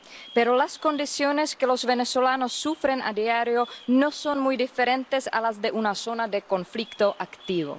Pero las condiciones que los venezolanos sufren a diario no son muy diferentes a las de una zona de conflicto activo.